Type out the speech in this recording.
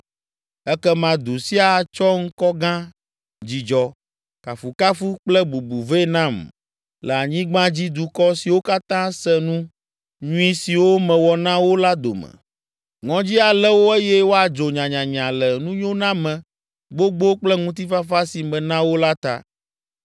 Ekema du sia atsɔ ŋkɔ gã, dzidzɔ, kafukafu kple bubu vɛ nam le anyigbadzidukɔ siwo katã se nu nyui siwo mewɔ na wo la dome; ŋɔdzi alé wo eye woadzo nyanyanya le nunyoname gbogbo kple ŋutifafa si mena wo la ta.’